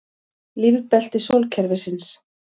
Lífbelti sólkerfisins.